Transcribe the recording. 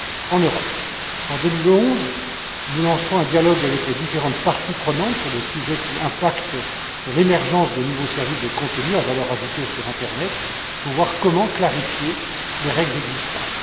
En 2011, nous lancerons un dialogue avec les différentes parties intéressées sur les sujets qui ont un impact sur l'émergence des nouveaux services de contenus à valeur ajoutée sur l'internet afin de voir comment clarifier les règles existantes.